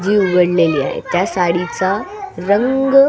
जी उघडलेली आहे त्या साडीचा रंग --